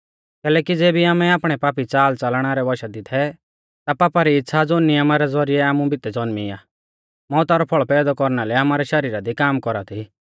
कैलैकि ज़ेबी आमै आपणै पापी च़ालच़लना रै वशा दी थै ता पापा री इच़्छ़ा ज़ो नियमा रै ज़ौरिऐ आमु भितै ज़ौन्मी आ मौउता रौ फल़ पैदौ कौरना लै आमारै शरीरा दी काम कौरा थी